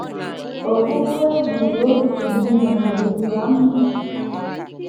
Ogbugbu e gburu otu n’ime ha dịdị ya mma.